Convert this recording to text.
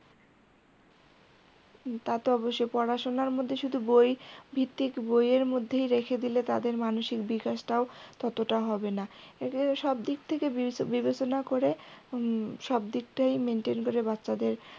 তাতো অবশ্যই পড়াশোনার মধ্যে শুধু বই ভিত্তিক বইয়ের মধ্যেই রেখে দিলে তাদের মানসিক বিকাশ টাও ততটা হবে না এটাই সব দিক থেকে বিবেচনা করে হুম সব দিকটাই maintain করে বাচ্চাদের